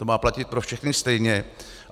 To má platit pro všechny stejně.